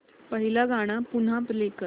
पहिलं गाणं पुन्हा प्ले कर